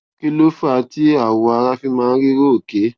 kí ló fà á tí awọ ara fi máa ń rí róòké